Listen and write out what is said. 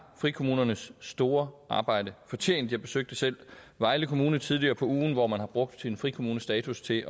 frikommunernes store arbejde fortjent jeg besøgte selv vejle kommune tidligere på ugen hvor man har brugt sin frikommunestatus til